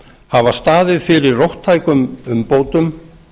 hafa staðið fyrir róttækum umbótum